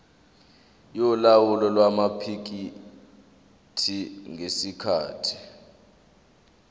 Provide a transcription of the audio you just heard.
yolawulo lwamaphikethi ngesikhathi